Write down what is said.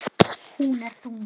Hún er þung.